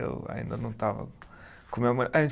Eu ainda não estava com